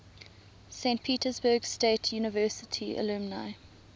saint petersburg state university alumni